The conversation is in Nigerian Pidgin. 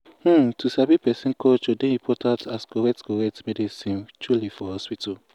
um to sabi person culture dey important as correct correct medicine truely for hospital.